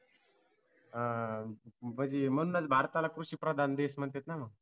हा म्हणजे म्हणूनच भारताला कृषिप्रधान देश म्हणतात ना